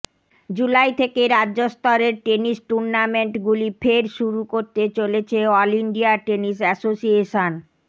জুলাই থেকে রাজ্যস্তরের টেনিস টুর্নামেন্টগুলি ফের শুরু করতে চলেছে অল ইন্ডিয়া টেনিস অ্যাসোসিয়েশন